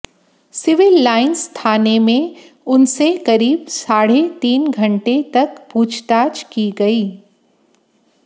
civil lines थाने में उनसे करीब साढे तीन घंटे तक पूछताछ की गई